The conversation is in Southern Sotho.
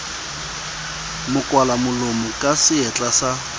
mo kwalamolomo ka seatla sa